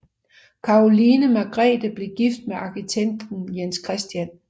Caroline Margrethe blev gift med arkitekt Jens Chr